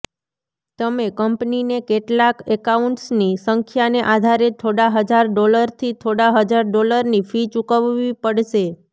તમે કંપનીને કેટલાંક એકાઉન્ટ્સની સંખ્યાને આધારે થોડા હજાર ડોલરથી થોડા હજાર ડોલરની ફી ચૂકવવી પડશે